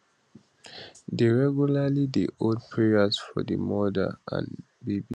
dey regularly dey hold prayers for di mother and babies